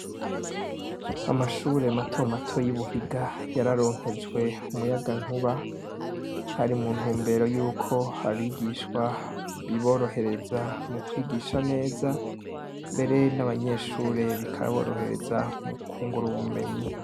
amashure matomato y'Ibuhiga yararonkejwe umuyagankuba, hari mu ntumbero yuko abigishwa biborohereza mu kwigisha neza, mbere n'abanyeshure bikaborohereza mu kwungura ubumenyi.